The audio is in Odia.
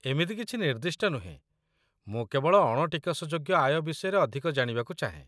ଏମିତି କିଛି ନିର୍ଦ୍ଦିଷ୍ଟ ନୁହେଁ, ମୁଁ କେବଳ ଅଣ ଟିକସଯୋଗ୍ୟ ଆୟ ବିଷୟରେ ଅଧିକ ଜାଣିବାକୁ ଚାହେଁ।